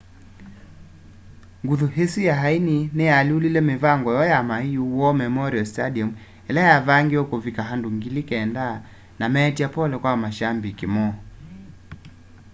nguthu isu ya aini niyaalyũlile mivango yoo ya maiu war memorial stadium ila yavangiwe kuvika andũ 9,000 na meetya pole kwa mashambiki moo